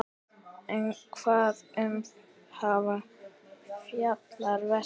En um hvað fjallar verkið?